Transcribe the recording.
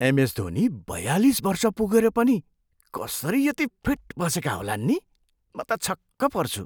MS Dhoni बयालिस वर्ष पुगेर पनि कसरी यति फिट बसेका होलान् नि! म त छक्क पर्छु।